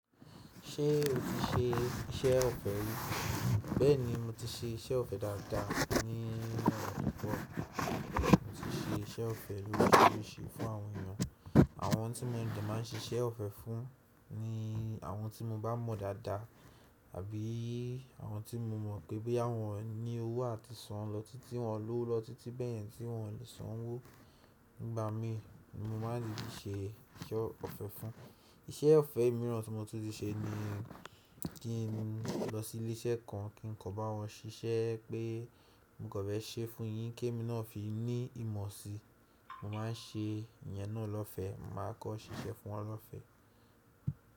Ṣé o ti ṣe iṣẹ́ ọ̀fẹ́ rí? Bẹ́ẹ̀ni, mo ti ṣe iṣẹ́ ọ̀fẹ́ dáadáa ni ọdún tó kọjá. Mo ti ṣe iṣẹ́ ọ̀fẹ́ oríṣiríṣi fún àwọn èèyàn. Àwọn tí mo de máa ń ṣe iṣẹ́ ọ̀fẹ́ fún ni àwọn tí mo bá mọ̀ dáadáa àbí àwọn tí mo mọ̀ pé boya won ni owó àti san lọ títí wọn lówo lọ títí bẹ̀yẹn tí wọn ò lè sanwó nígbà mii, ni mo maá n dídi ṣe iṣẹ́ ọ̀fẹ́ fún wọn. Iṣẹ́ ọ̀fẹ́ mìíràn tí mo tun ti ṣe ni kí n lọ sí ilé iṣẹ́ kan kí n kan bá wọn ṣíṣe pé mo kan feṣe fún yin ki emi náà fi ní ìmọ̀ si. Mo má n ṣe ìyẹn náà lọ́fẹ́, màá kan ṣíṣe fún wọn lọ́fẹ́.